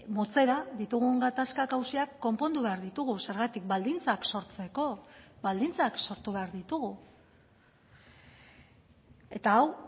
motzera ditugun gatazkak auziak konpondu behar ditugu zergatik baldintzak sortzeko baldintzak sortu behar ditugu eta hau